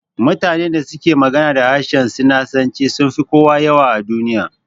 Mutanen da suke magana da harshen sinanci sunfi kowa yawa a duniya